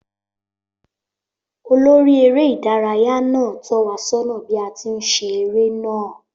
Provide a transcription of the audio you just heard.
Olórí eré ìdárayá náà tó wa sónà bí a ti ń ṣe eré náà